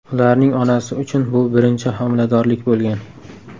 Ularning onasi uchun bu birinchi homiladorlik bo‘lgan.